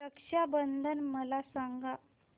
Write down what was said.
रक्षा बंधन मला सांगा